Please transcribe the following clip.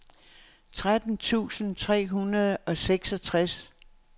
tretten tusind tre hundrede og seksogtres